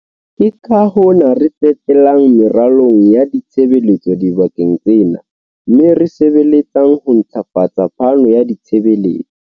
Ke ka hona re tsetelang meralong ya ditshebeletso dibakeng tsena mme re sebeletsang ho ntlafatsa phano ya ditshebeletso.